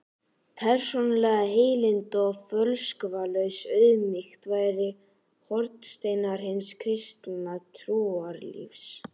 Persónuleg heilindi og fölskvalaus auðmýkt væru hornsteinar hins kristna trúarlífs.